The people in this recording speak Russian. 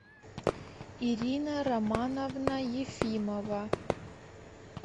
ирина романовна ефимова